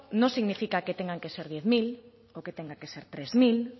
no significa que tengan que ser diez mil o que tengan que ser tres mil